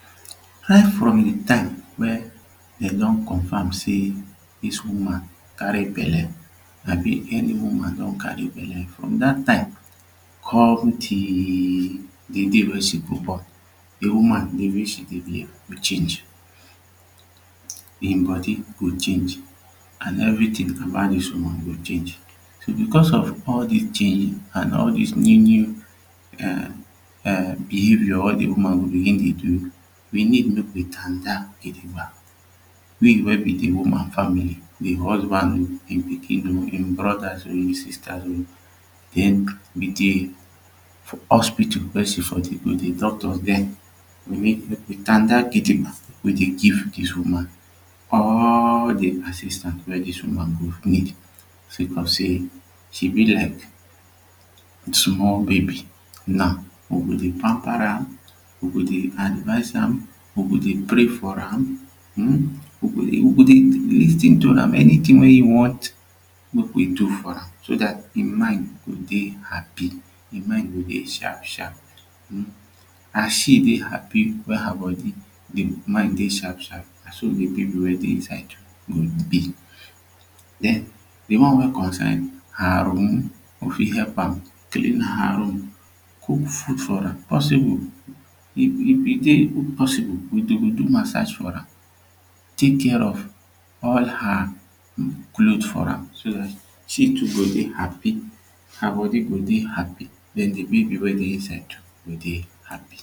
Right from de time wey dem don confirm say dis woman carry belle abi any woman don carry belle from dat time come till de day wey she go born, de woman the way she dey behave go change him body go change an everytin about dis woman go change so becos all dis changes and all dis new new behaviour wey de woman go begin dey do we need no be standa gidigba we wey be the woman family we husband him pikin oo him brodas oo him sisters oo den we dey for hospital mek she for go de doctors dey we standa gidigba we dey give dis woman all de assistance wey dis woman go need say cos say she be like small baby now dem go dey pamper am we go dey advice am we go dey pray for am um we go dey we go dey lis ten to am anytin wey him want mek we do for am so cat him mind go dey happy. Him mind go dey sharp sharp hmm as she dey happy wey her body dey mind dey sharp sharp na so the baby wey dey inside go be. de one wey concern her own no fit help am clean her room cook food for am possible if e dey possible we go do massage for am tek care of all her for am she too go dey happy her body dey go happy den de baby wey dey inside go dey happy